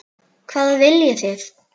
Hvað viljið þið!